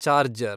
charger